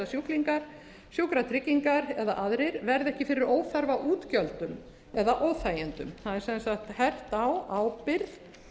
sjúklingar sjúkratryggingar eða aðrir verði ekki fyrir óþarfa útgjöldum eða óþægindum það er sem sagt hert á ábyrgð